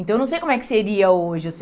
Então eu não sei como é que seria hoje.